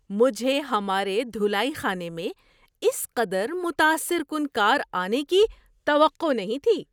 مجھے ہمارے دھلائی خانے میں اس قدر متاثر کن کار آنے کی توقع نہیں تھی۔